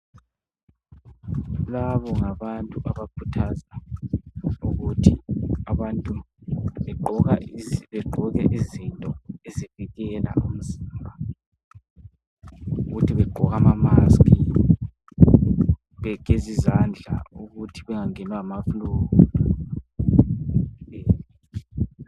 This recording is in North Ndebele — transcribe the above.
Labo ngabantu abakhuthaza ukuthi abantu begqoke izinto ezivikela umzimba ukuthi begqoke amamaski begeze izandla ukuthi bengangenwa ngamaflue